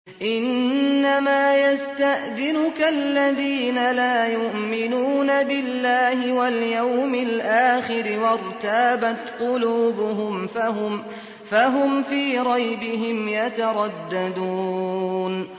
إِنَّمَا يَسْتَأْذِنُكَ الَّذِينَ لَا يُؤْمِنُونَ بِاللَّهِ وَالْيَوْمِ الْآخِرِ وَارْتَابَتْ قُلُوبُهُمْ فَهُمْ فِي رَيْبِهِمْ يَتَرَدَّدُونَ